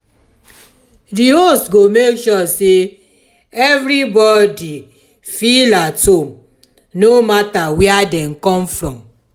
di host go make sure say everybody feel at home no matter where dem come from